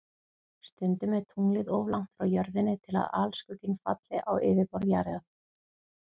Stundum er tunglið of langt frá Jörðinni til að alskugginn falli á yfirborð Jarðar.